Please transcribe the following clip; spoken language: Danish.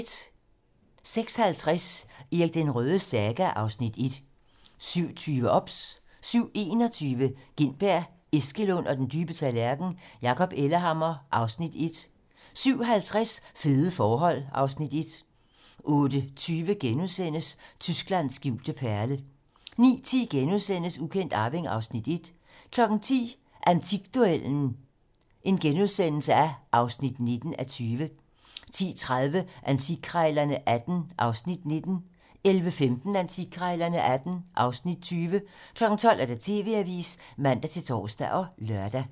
06:50: Erik den Rødes saga (Afs. 1) 07:20: OBS 07:21: Gintberg, Eskelund og den dybe tallerken: Jakob Ellehammer (Afs. 1) 07:50: Fede forhold (Afs. 1) 08:20: Tysklands skjulte perle * 09:10: Ukendt arving (Afs. 1)* 10:00: Antikduellen (19:20)* 10:30: Antikkrejlerne XVIII (Afs. 19) 11:15: Antikkrejlerne XVIII (Afs. 20) 12:00: TV-Avisen (man-tor og lør)